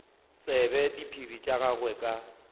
tsebe diphiri tša gagwe ka